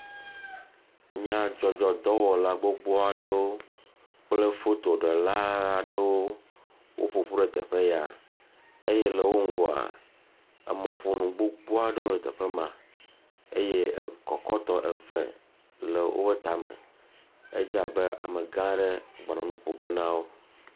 Nyadzzɔdzɔdɔwɔla gbogbo aɖewo kple fotoɖela aɖewo woƒoƒu ɖe teƒe ya eye le wo ŋgɔa emɔƒonu gbogbo aɖewo le teƒe ma eye kɔkɔtɔ eve le woƒe ta me. Edze abe amegã aɖe gbɔna nuƒoge na wo.